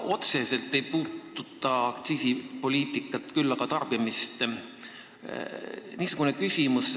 Minu küsimus ei puuduta aktsiisipoliitikat, küll aga tarbimist.